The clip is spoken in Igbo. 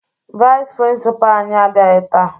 Vayịs prịnsịpaa anyị abịaghị taa